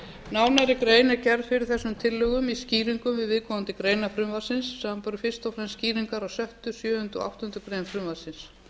nánar grein er gerð fyrir þessum tillögum í skýringum við viðkomandi greinar frumvarpsins samanber fyrst og fremst skýringar á sjötta sjöunda og áttundu greinar frumvarpsins